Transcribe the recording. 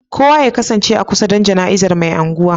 Kowa ya kasance a kusa don jana'izar Mai Anguwan